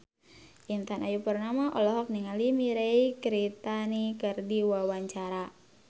Intan Ayu Purnama olohok ningali Mirei Kiritani keur diwawancara